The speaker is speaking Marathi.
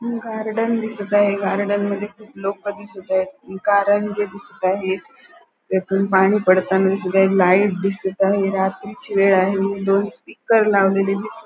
गार्डन दिसत आहे गार्डन मधी खुप लोक दिसत आहेत कारंजे दिसत आहेत त्यातुन पाणी पडताना दिसत आहेत लाइट दिसत आहे रात्रीची वेळ आहे दोन स्पीकर लावलेले दिसत --